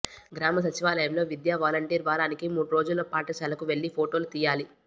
గ్రామ సచివాలయంలో విద్యావాలంటీరు వారానికి మూడు రోజులు పాఠశాలకు వెళ్లి ఫొటోలు తీయాలి